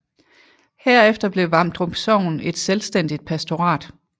Herefter blev Vamdrup Sogn et selvstændigt pastorat